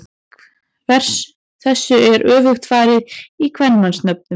Þessu er öfugt farið í kvenmannsnöfnum.